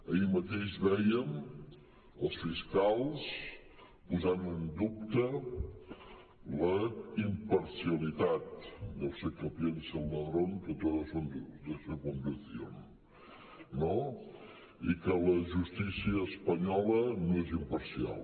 ahir mateix vèiem els fiscals posant en dubte la imparcialitat deu ser que piensa el ladrón que todos son de su condición no i que la justícia espanyola no és imparcial